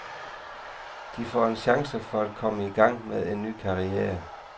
De får en chance for at komme i gang med en ny karriere.